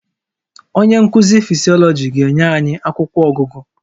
Onye nkuzi Physiology ga-enye anyị akwụkwọ ọgụgụ